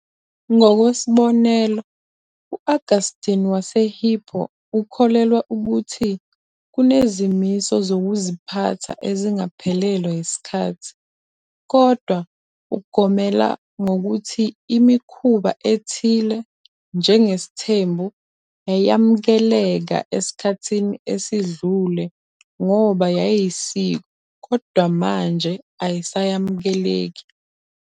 Ngokwesibonelo, u-Augustine waseHippo ukholelwa ukuthi kunezimiso zokuziphatha ezingaphelelwa isikhathi, kodwa ugomela ngokuthi imikhuba ethile, njengesithembu, yayamukeleka esikhathini esidlule ngoba yayiyisiko kodwa manje ayisamukeleki.